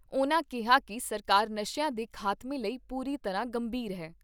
ਉਨ੍ਹਾਂ ਕਿਹਾ ਕਿ ਸਰਕਾਰ ਨਸ਼ਿਆਂ ਦੇ ਖਾਤਮੇ ਲਈ ਪੂਰੀ ਤਰ੍ਹਾਂ ਗੰਭੀਰ ਏ।